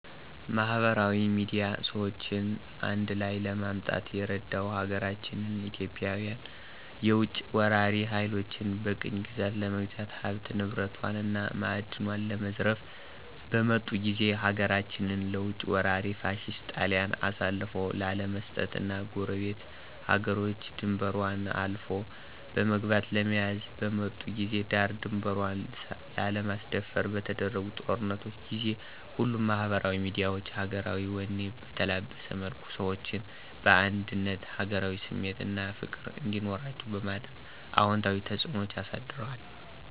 ማህበራዊ ሚድያ ሰዎችን አንድላይ ለማምጣት የረዳው ሀገራችን ኢትዮጵያን የውጭ ወራሪ ሀይሎች በቅኝ ግዛት ለመግዛት ሀብት ንብረቷን እና ማእድኗን ለመዝረፍ በመጡ ጊዜ ሀገራችንን ለውጭ ወራሪ ፋሽስት ጣሊያን አሳልፎ ላለመስጠት እና ጎረቤት ሀገሮች ድንበሯን አልፎ በመግባት ለመያዝ በመጡ ጊዜ ዳር ድንበሯን ላለማስደፈር በተደረጉ ጦርነቶች ጊዜ ሁሉም ማህበራዊ ሚዲያዎች ሀገራዊ ወኔ በተላበሰ መልኩ ሰዎችን በአንድነት ሀገራዊ ስሜት አና ፍቅር እንዲኖራቸዉ በማድረግ አወንታዊ ተጽእኖ አሳድረዋል።